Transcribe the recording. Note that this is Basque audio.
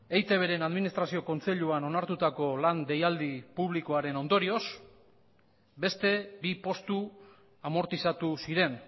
eitbren administrazio kontseiluan onartutako lan deialdi publikoaren ondorioz beste bi postu amortizatu ziren